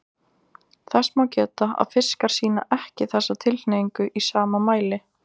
Þess má geta að fiskar sýna ekki þessa tilhneigingu í sama mæli.